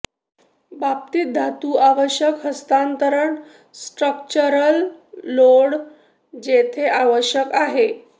बाबतीत धातू आवश्यक हस्तांतरण स्ट्रक्चरल लोड जेथे आवश्यक आहे